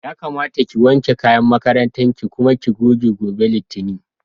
Yakamata ki wanke kayan makarantar ki kuma ki goge, gobe Litinin.